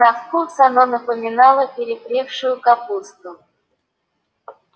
на вкус оно напоминало перепревшую капусту